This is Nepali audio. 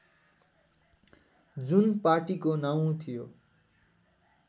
जुन पार्टीको नाउँ थियो